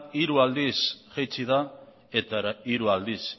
hiru aldiz jaitsi da eta hiru aldiz